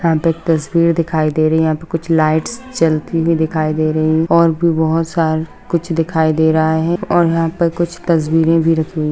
यहाँ पे एक तस्वीर दिखाई दे रही है यहाँ पे कुछ लाइट्स जलती हुई दिखाई दे रही है और भी बहुत सारा कुछ दिखाई दे रहा है और यहाँ पे कुछ तस्वीरे भी रखी हुई--